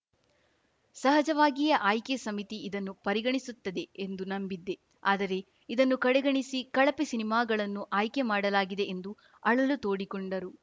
ಸಹಜವಾಗಿಯೇ ಆಯ್ಕೆ ಸಮಿತಿ ಇದನ್ನು ಪರಿಗಣಿಸುತ್ತದೆ ಎಂದು ನಂಬಿದ್ದೆ ಆದರೆ ಇದನ್ನು ಕಡೆಗಣಿಸಿ ಕಳಪೆ ಸಿನಿಮಾಗಳನ್ನು ಆಯ್ಕೆ ಮಾಡಲಾಗಿದೆ ಎಂದು ಅಳಲು ತೋಡಿಕೊಂಡರು